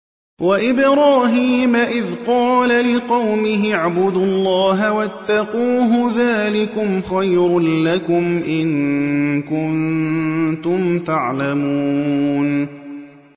وَإِبْرَاهِيمَ إِذْ قَالَ لِقَوْمِهِ اعْبُدُوا اللَّهَ وَاتَّقُوهُ ۖ ذَٰلِكُمْ خَيْرٌ لَّكُمْ إِن كُنتُمْ تَعْلَمُونَ